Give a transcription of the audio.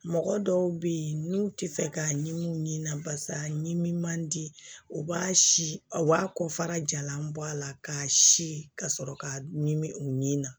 Mɔgɔ dɔw be yen n'u ti fɛ k'a ɲimi u ni na barisa nimuman di u b'a si u b'a kɔfara jalan bɔ a la k'a si ka sɔrɔ k'a ɲimi u ni na